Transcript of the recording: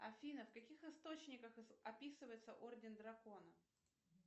афина в каких источниках описывается орден дракона